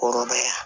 Kɔrɔbɔrɔ